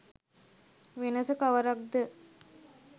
වෙනස කවරක්ද